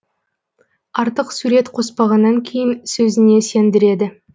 артық сурет қоспағаннан кейін сөзіне сендіреді